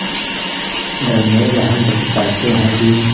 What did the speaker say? Darnell Hunt बताते हैं कि